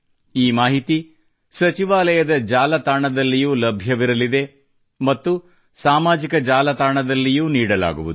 ಈ ಮಾಹಿತಿ ಸಚಿವಾಲಯದ ಜಾಲತಾಣದಲ್ಲಿಯೂ ಲಭ್ಯವಿರಲಿದೆ ಮತ್ತು ಸಾಮಾಜಿಕ ಜಾಲತಾಣದಲ್ಲಿಯೂ ನೀಡಲಾಗುವುದು